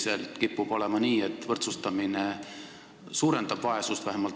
Üldiselt kipub olema nii, et võrdsustamine suurendab vaesust.